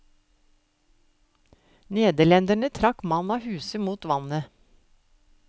Nederlenderne trakk mann av huse mot vannet.